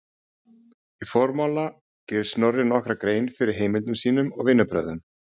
Í formála gerir Snorri nokkra grein fyrir heimildum sínum og vinnubrögðum.